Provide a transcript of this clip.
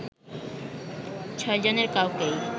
ছয় জনের কাউকেই